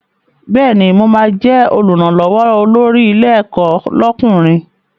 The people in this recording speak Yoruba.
Bẹ́ẹ̀ni, mo ma jẹ́ Olùrànlọ́wọ́ olórí ilé ẹ̀kọ́ lọ́kùnrin